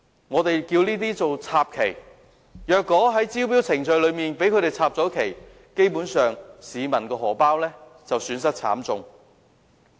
我們把這些手法稱為"插旗"，如果在招標程序中被它們"插旗"，基本上，市民的荷包便會損失慘重。